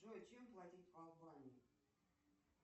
джой чем платить в албании